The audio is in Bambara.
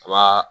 A ba